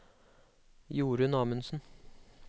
Jorun Amundsen